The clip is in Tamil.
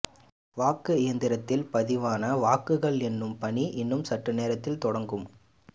வாக்கு இயந்திரத்தில் பதிவான வாக்குகள் எண்ணும் பணி இன்னும் சற்று நேரத்தில் தொடங்கும்